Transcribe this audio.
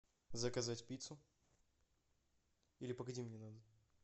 заказать пиццу или погоди мне надо